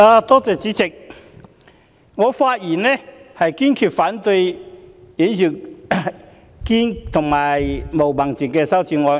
代理主席，我發言堅決反對尹兆堅議員的議案及毛孟靜議員的修正案。